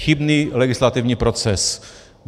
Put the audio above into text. Chybný legislativní proces.